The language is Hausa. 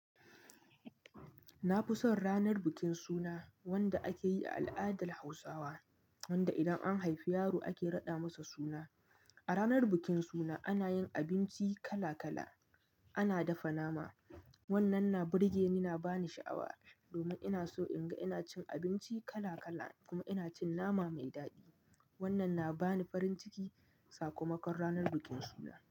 Na fi son ranar bikin suna wanda ake yi a al'adar Hausawa, wanda idan an haifi yaro ake raɗa masa suna. A ranar bikin suna ana yin abinci kala-kala, ana dafa nama. Wannan na burge ni, na bani sha'awa domin ina so in ga ina cin abinci kala-kala kuma ina cin nama mai daɗi. Wannan na bani farin ciki sakamakon ranar bikin suna.